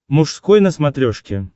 мужской на смотрешке